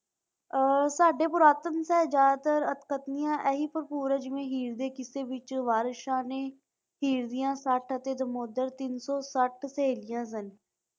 ਅਹ ਸਾਡੇ ਪੁਰਾਤਨ ਦੇ ਜ਼ਿਆਦਾਤਰ ਅੱਠ ਕਥਨੀਆਂ ਹੀਰ ਦੇ ਕਿੱਸੇ ਵਿੱਚ ਵਾਰਿਸ ਸ਼ਾਹ ਨੇ ਹੀਰ ਦੀਆਂ ਸੱਤ ਅਤੇ ਸਹੇਲੀਆਂ ਸਨ।